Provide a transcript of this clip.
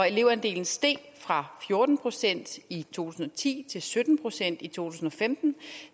elevandelen steg fra fjorten procent i tusind og ti til sytten procent i to tusind og femten